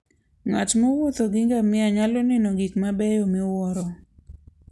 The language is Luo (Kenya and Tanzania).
Ng'at mowuotho gi ngamia nyalo neno gik mabeyo miwuoro.